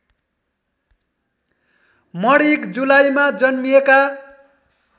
मणिक जुलाईमा जन्मिएका